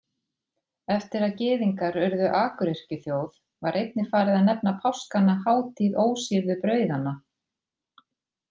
Eftir að Gyðingar urðu akuryrkjuþjóð var einnig farið að nefna páskana hátíð ósýrðu brauðanna.